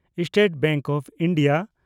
state Bank of India